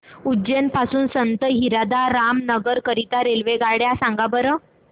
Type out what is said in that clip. उज्जैन पासून संत हिरदाराम नगर करीता रेल्वेगाड्या सांगा बरं